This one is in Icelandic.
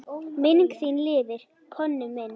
Minning þín lifir, Konni minn.